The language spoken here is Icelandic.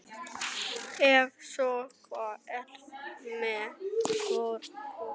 Ef svo er, hvað ertu með í forgjöf?